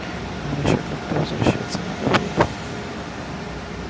нам ещё как-то возвращаться надо будет